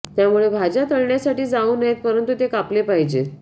त्यामुळे भाज्या तळण्यासाठी जाऊ नयेत परंतु ते कापले पाहिजेत